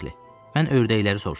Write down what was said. Mən ördəkləri soruşuram.